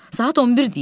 Saat 11-dir.